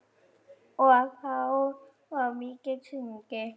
Og þá var mikið sungið.